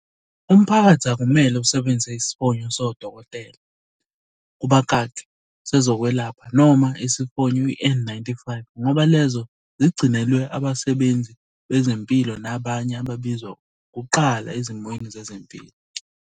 Umphakathi akumele usebenzise isifonyo sodokotela, kubakaki, sezokwelapha, noma isifonyo i-N-95 ngoba lezo zigcinelwe abasebenzi bezempilo nabanye ababizwa kuqala ezimweni zezempilo.